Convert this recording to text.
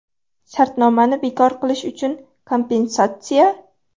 Shartnomani bekor qilish uchun kompensatsiya?